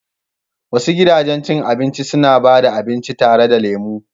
Wasu gidajen cin abinci suna ba da abinci tare da lemu.